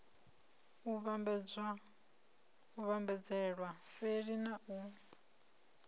u vhambadzelwa seli na u